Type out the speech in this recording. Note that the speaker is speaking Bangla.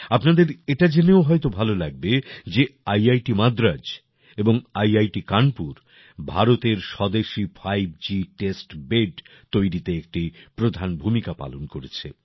আপনাদের এটা জেনেও হয়তো ভালো লাগবে যে ইআইটি মাদ্রাজ এবং ইআইটি কানপুর ভারতের স্বদেশী 5G টেস্ট বেদ তৈরিতে একটি প্রধান ভূমিকা পালন করেছে